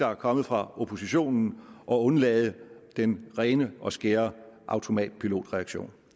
er kommet fra oppositionen og undlade den rene og skære automatpilotreaktion